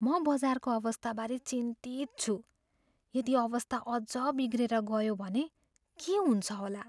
म बजारको अवस्थाबारे चिन्तित छु। यदि अवस्था अझ बिग्रिएर गयो भने के हुन्छ होला?